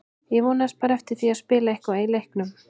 Ég vonaðist bara eftir því að spila eitthvað í leiknum.